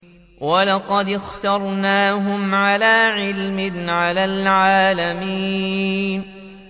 وَلَقَدِ اخْتَرْنَاهُمْ عَلَىٰ عِلْمٍ عَلَى الْعَالَمِينَ